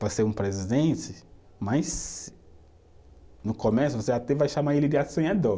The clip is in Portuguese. para ser um presidente, mas no começo você até vai chamar ele de